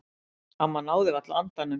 Amma náði varla andanum.